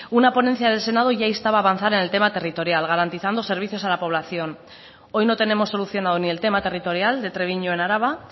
una ponencia del senado ya instaba a avanzar en el tema territorial garantizando servicios a la población hoy no tenemos solucionado ni el tema territorial de treviño en araba